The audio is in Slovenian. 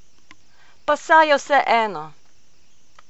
Pa saj je vseeno!